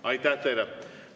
Aitäh teile!